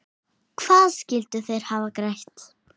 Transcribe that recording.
Hvað skyldu þeir hafa grætt?